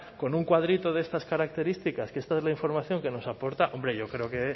con un cuadrito de estas características que esta es la información que nos aporta hombre yo creo que